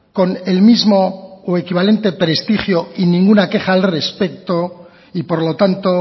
con el mismo o equivalente prestigio y ninguna queja al respecto y por lo tanto